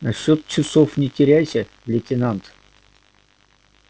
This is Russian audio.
насчёт часов не теряйся лейтенант